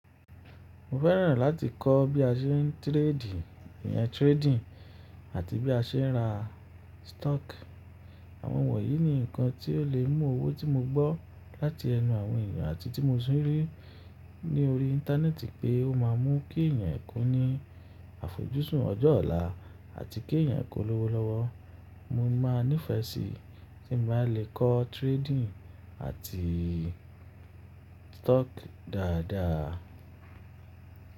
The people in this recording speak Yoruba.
Mo fẹ́ràn láti kọ́ bí a ṣe ń tíredì, ìyẹn trading àti bí a ṣe ń ra stock. Àwọn wọ̀nyí ni ǹkan tí ó lè mú owó tí mo gbọ́ láti ẹnu àwọn èèyàn àti tí mo sì rí ní orí íńtánẹ́ẹ̀tì pé ó máa mú kí èèyàn kún ní àfojúsùn ọjọ́ ọ̀la àti kí èèyàn kó lọ́wọ́ lọ́wọ́. Mo máa nífẹ̀ẹ́ sí tí n bá lè kọ́ trading àti stock dáadáa.